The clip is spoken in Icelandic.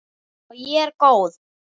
Og ég er góð.